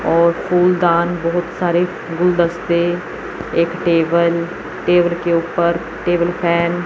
और फूलदान बहुत सारे गुलदस्ते एक टेबल टेबल के ऊपर टेबल फैन --